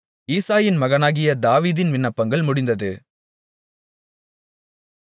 ஈசாயின் மகனாகிய தாவீதின் விண்ணப்பங்கள் முடிந்தது